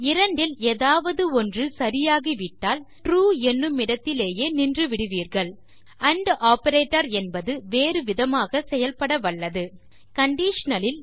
இரண்டில் எதாவது ஒன்று சரி ஆகிவிட்டால் நீங்கள் ட்ரூ என்னுமிடத்திலேயே நின்று விடுவீர்கள் ஆண்ட் ஆப்பரேட்டர் என்பது வேறு விதமாக செயல்பட வல்லது conditionல்